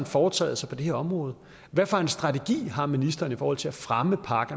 foretaget sig på det her område hvad for en strategi har ministeren i forhold til at fremme park